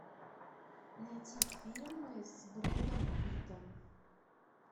найти фильмы с брэдом питтом